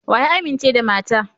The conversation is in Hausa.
Wa ya amince da mata?